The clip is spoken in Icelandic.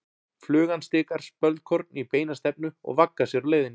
Flugan stikar spölkorn í beina stefnu og vaggar sér á leiðinni.